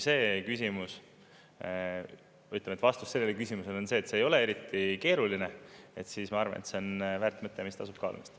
Ütleme, et vastus sellele küsimusele on see, et kui see ei ole eriti keeruline, siis ma arvan, et see on väärt mõte, mis tasub kaalumist.